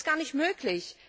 Das ist gar nicht möglich.